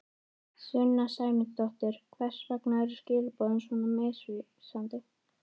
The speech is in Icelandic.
Sunna Sæmundsdóttir: Hvers vegna eru skilaboðin svona misvísandi?